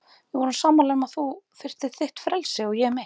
Við vorum sammála um að þú þyrftir þitt frelsi og ég mitt.